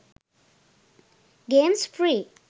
games free